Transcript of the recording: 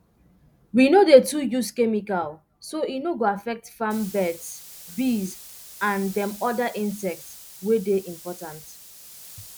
we no dey too use chemical so e no go affect farm birds bees and um oda insects wey dey important